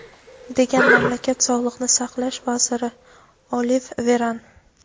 degan mamlakat Sog‘liqni saqlash vaziri Olive Veran.